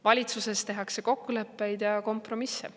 Valitsuses tehakse kokkuleppeid ja kompromisse.